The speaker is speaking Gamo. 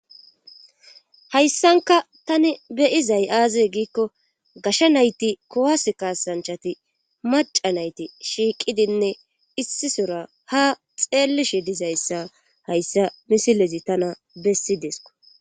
hayssanka tani be'izay aaze giikko gashsha nayti kowase kaasanchati maca nayti shiiqidinne issisora ha xeellishe dizayssa hayssa misilezi tana bessidesko